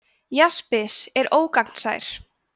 jaspis er ógagnsær